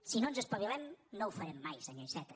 si no ens espavilem no ho farem mai senyor iceta